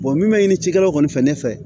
min bɛ ɲini cikɛlaw kɔni fɛ ne fɛ